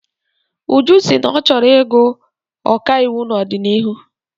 Uju sị na ọ chọrọ ịgụ ọkaiwu n'ọdịnihu.